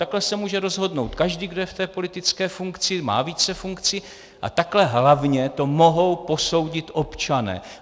Takhle se může rozhodnout každý, kdo je v té politické funkci, má více funkcí, a takhle hlavně to mohou posoudit občané.